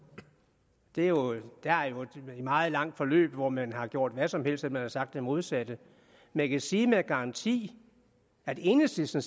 der er jo et meget langt forløb hvor man har gjort hvad som helst og hvor man har sagt det modsatte jeg kan sige med garanti at enhedslisten